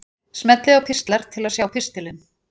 Smellið á Pistlar til að sjá pistilinn.